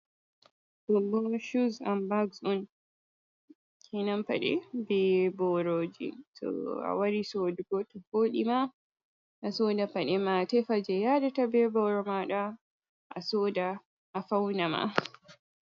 Ɗo bo shuz an bags on kenan paɗe be booroji to a wari sodugo to voɗi ma, a soda paɗe ma atefa jei yaadata be booro maaɗa asoda a fauna ma.